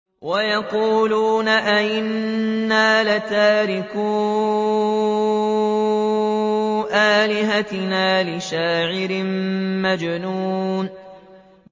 وَيَقُولُونَ أَئِنَّا لَتَارِكُو آلِهَتِنَا لِشَاعِرٍ مَّجْنُونٍ